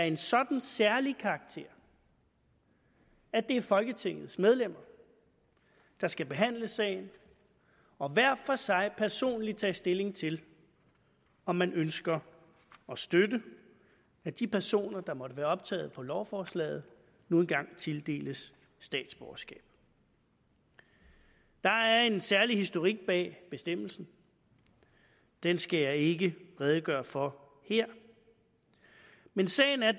en sådan særlig karakter at det er folketingets medlemmer der skal behandle sagen og hver for sig personligt tage stilling til om man ønsker at støtte at de personer der måtte være optaget på lovforslaget nu engang tildeles statsborgerskab der er en særlig historik bag bestemmelsen den skal jeg ikke redegøre for her men sagen er